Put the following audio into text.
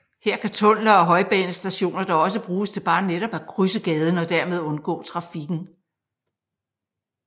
Her kan tunneler og højbanestationer dog også bruges til bare netop at krydse gaden og dermed undgå trafikken